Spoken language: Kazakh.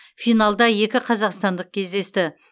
финалда екі қазақстандық кездесті